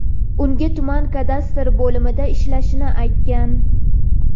unga tuman kadastr bo‘limida ishlashini aytgan.